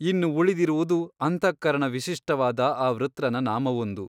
ಇನ್ನು ಉಳಿದಿರುವುದು ಅಂತಃಕರಣ ವಿಶಿಷ್ಟವಾದ ಆ ವೃತ್ರನ ನಾಮವೊಂದು.